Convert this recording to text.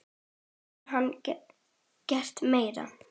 Hvað gat hann gert meira?